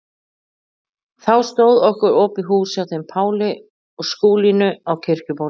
Þá stóð okkur opið hús hjá þeim Páli og Skúlínu á Kirkjubóli.